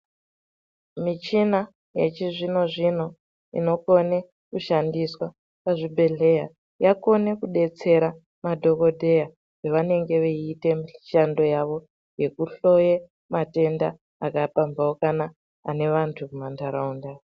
Michina yechizvino zvino inokone kushandiswa muzvibhedhleya yakona kudetsera madhokodheya pevanenge veiite mishando yavo yekuhloye matenda akapambaukana ane vantu mumandaraunda.